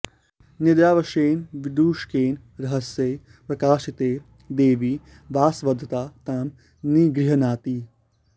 निद्रावशेन विदूषकेन रहस्ये प्रकाशिते देवी वासवदता तां निगृह्णाति